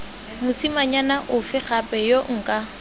mosimanyana ofe gape yo nka